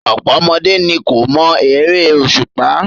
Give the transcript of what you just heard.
Ọ̀pọ̀ ọmọdé ni kò mọ eré òṣùpá.